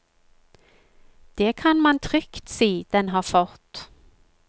Det kan man trygt si den har fått.